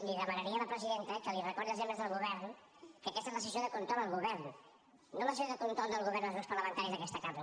li demanaria a la presidenta que els recordi als membres del govern que aquesta és la sessió de control al govern no la sessió de control del govern als grups parlamentaris d’aquesta cambra